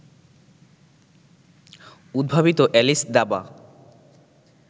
উদ্ভাবিত অ্যালিস দাবা